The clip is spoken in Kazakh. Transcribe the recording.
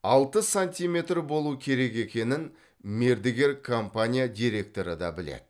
алты сантиметр болу керек екенін мердігер компания директоры да біледі